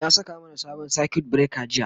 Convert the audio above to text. ya saka mana sabon circuit breaker jiya